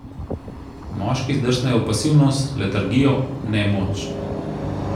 Moški zdrsnejo v pasivnost, letargijo, nemoč.